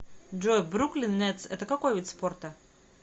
джой бруклин нетс это какой вид спорта